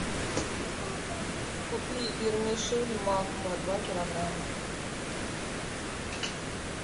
купи вермишель макфа два килограмма